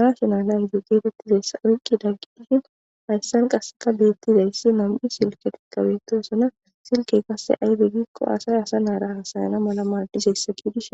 nashonal naygdo geetettizayssa oyqqi dagqidishin hayssan qasseka beettizayssi mam'i silke tikabetosona silkey qasse aybegikko asay asa naara hasayana mala maadiseyssa giidishi.